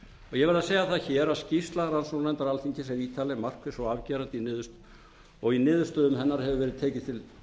ég verð að segja hér skýrsla rannsóknarnefndar alþingis er ítarleg markviss og afgerandi og í niðurstöðum hennar hefur verið tekið